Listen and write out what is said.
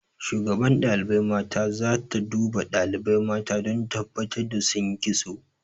Shugaban ɗalibai mata za ta duba ɗalibai mata don tabbatar da sun yi kitso.